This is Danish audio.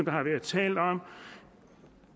har været talt om i